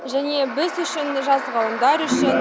және біз үшін жас ғалымдар үшін